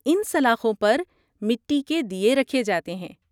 ان سلاخوں پر مٹی کے دیے رکھے جاتے ہیں۔